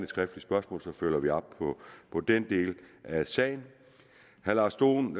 skriftligt spørgsmål så følger vi op på den del af sagen herre lars dohn